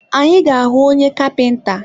Anyị ga ahụ onye kapinta?